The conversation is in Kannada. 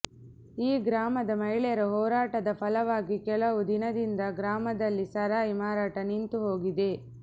ಈ ಗ್ರಾಮದ ಮಹಿಳೆಯರ ಹೋರಾಟದ ಫಲವಾಗಿ ಕೆಲವು ದಿನದಿಂದ ಗ್ರಾಮದಲ್ಲಿ ಸಾರಾಯಿ ಮಾರಾಟ ನಿಂತು ಹೋಗಿದೆ